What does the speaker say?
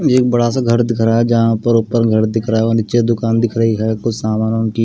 एक बड़ा सा घर दिख रहा हैज़ जहाँ पर ऊपर घर दिख रहा है और नीचे दुकान दिख रही है कुछ सामान की--